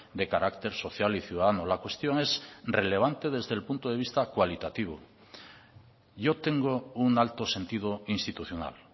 de carácter social y ciudadano la cuestión es relevante desde el punto de vista cualitativo yo tengo un alto sentido institucional